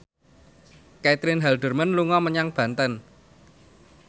Caitlin Halderman dolan menyang Banten